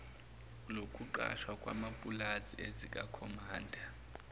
lokuqashwa kwamapulazi ezikakhomanda